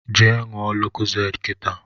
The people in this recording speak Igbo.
Je ṅụọ Lokozade kịta